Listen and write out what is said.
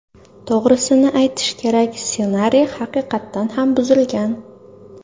To‘g‘risini aytish kerak, ssenariy haqiqatdan ham buzilgan.